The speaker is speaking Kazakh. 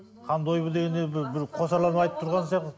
хан дойбы дегенде бір қосарланып айтып тұрған сияқты